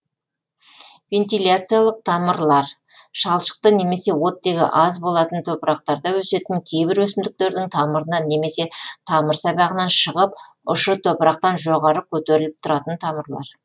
вентиляциялық тамырлар шалшықты немесе оттегі аз болатын топырақтарда өсетін кейбір өсімдіктердің тамырынан немесе тамыр сабағынан шығып ұшы топырақтан жоғары көтеріліп тұратын тамырлар